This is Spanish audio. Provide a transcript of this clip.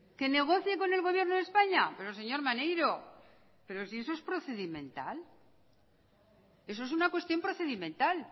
que negocie con el gobierno de españa pero señor maneiro pero si eso es procedimental eso es una cuestión procedimental